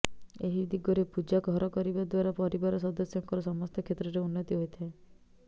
ଏହି ଦିଗରେ ପୂଜା ଘର କରିବା ଦ୍ବାରା ପରିବାର ସଦସ୍ୟଙ୍କର ସମସ୍ତ କ୍ଷେତ୍ରରେ ଉନ୍ନତି ହୋଇଥାଏ